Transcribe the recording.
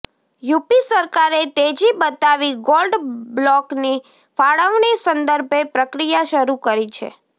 UP સરકારે તેજી બતાવી ગોલ્ડ બ્લોકની ફાળવણી સંદર્ભે પ્રક્રિયા શરૂ કરી છે